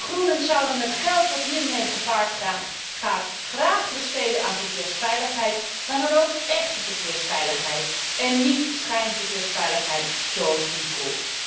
De Groenen zouden het geld dat hiermee gepaard gaat graag besteden aan verkeersveiligheid, maar dan ook échte verkeersveiligheid en niet schijnverkeersveiligheid zoals eCall.